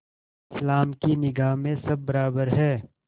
इस्लाम की निगाह में सब बराबर हैं